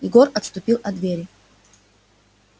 егор отступил от двери